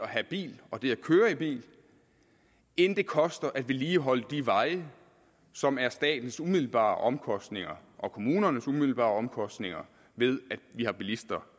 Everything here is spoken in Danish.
have bil og det at køre i bil end det koster at vedligeholde de veje som er statens umiddelbare omkostninger og kommunernes umiddelbare omkostninger ved at vi har bilister